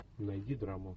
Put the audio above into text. найди драму